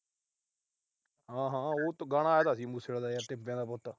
ਹਾਂ। ਹਾਂ। ਉਹ ਗਾਣਾ ਆਇਆ ਤਾਂ ਸੀ ਮੂਸੇ ਆਲੇ ਦਾ ਟਿੱਬਿਆਂ ਦਾ ਪੁੱਤ।